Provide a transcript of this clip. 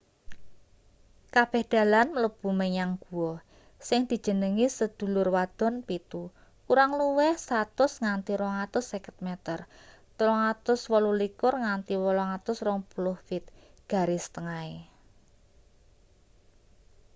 kabeh dalan mlebu menyang guwa sing dijenengi sedulur wadon pitu” kurang luwih 100 nganti 250 meter 328 nganti 820 feet garis tengahe